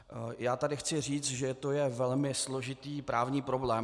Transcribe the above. Já tady chci říct, že to je velmi složitý právní problém.